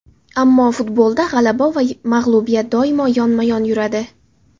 Ammo futbolda g‘alaba va mag‘lubiyat doimo yonma-yon yuradi.